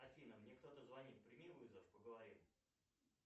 афина мне кто то звонит прими ввызов поговорим